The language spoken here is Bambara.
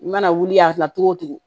I mana wuli a la cogo o cogo